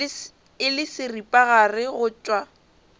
e le seripagare go tšwa